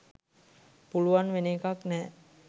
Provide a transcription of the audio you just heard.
පුළුවන් වෙන එකක් නෑ.